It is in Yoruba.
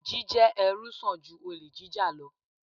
Jíjẹ́ ẹrú sàn ju olè jíjà lọ.